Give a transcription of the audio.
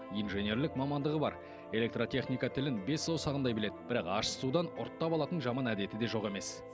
инженерлік мамандығы бар электротехника тілін бес саусағындай біледі бірақ ащы судан ұрттап алатын жаман әдеті де жоқ емес